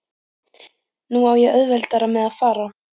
Nú á ég auðveldara með að fara.